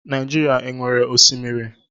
Naịjirịa e nwere oké osimiri?